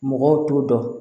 Mɔgɔw t'o dɔn